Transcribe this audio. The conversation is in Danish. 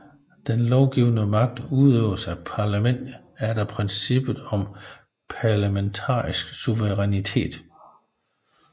Den lovgivende magt udøves af parlamentet efter princippet om parlamentarisk suverænitet